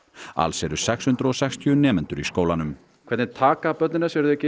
alls eru sex hundruð og sextíu nemendur í skólanum hvernig taka börnin þessu eru þau ekki